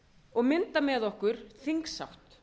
og mynda með okkur þingsátt